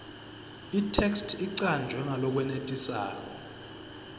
itheksthi icanjwe ngalokwenetisako